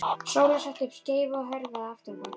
Sóla setti upp skeifu og hörfaði aftur á bak.